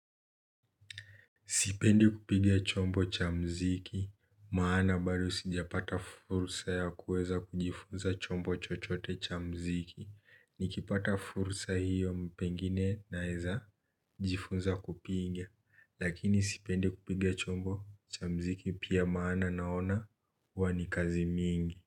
Sipendi kupiga chombo cha mziki, maana bado sijapata fursa ya kuweza kujifunza chombo chochote cha mziki, nikipata fursa hiyo pengine na eza jifunza kupiga, lakini sipendi kupiga chombo cha mziki pia maana naona huwani kazi mingi.